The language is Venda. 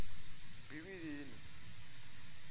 bivhilini